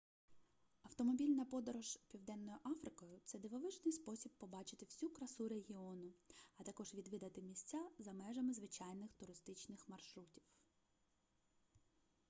автомобільна подорож південною африкою це дивовижний спосіб побачити всю красу регіону а також відвідати місця за межами звичайних туристичних маршрутів